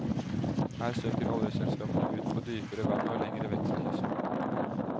Her søker oljeselskapene ut på dypere vann og lengre vekk fra kysten.